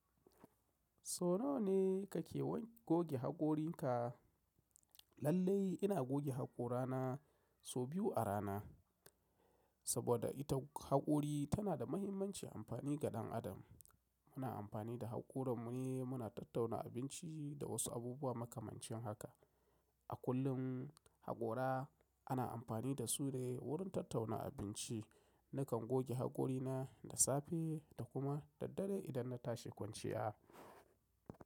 Sau nawa ne kake goge hakorinka? Lallai ina goge haƙora na sau biyu a rana, saboda ita haƙori tana da muhimmancin amfani ga ɗan adam. Muna amfani da haƙora mu ne muna tattauna abinci da wasu abubuwa makamancin haka. A kullum haƙora ana amfani da su ne wurin tattauna abinci. Nakan goge hakorina da safe da kuma da dare idan na tashi kwanciya.